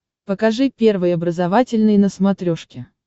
покажи первый образовательный на смотрешке